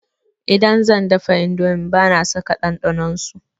Idan zan dafa indomi bana saka ɗanɗanon su.